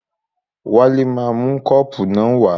Wálé máa mú kọ́ọ̀pù náà wá.